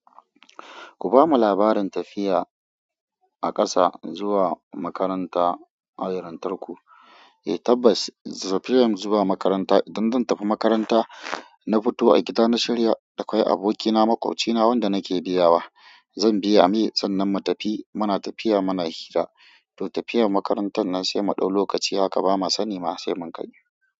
Ku ba mu labarin tafiya a ƙasa zuwa makaranta a wurin tarku. Eh tabbas, tafiyar zuwa makaranta, idan zan tafi makaranta, na fito a gida na shirya. Akwai abokina, maƙwabcina wanda nake biya wa. Zan biya me, sannan mu tafi. Muna tafiya muna hira. To tafiyar makarantar nan sai mu dau lokaci haka ba ma sani ma sai mun kai.